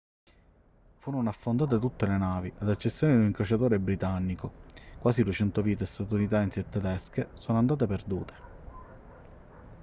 furono affondate tutte le navi ad eccezione di un incrociatore britannico quasi 200 vite statunitensi e tedesche sono andate perdute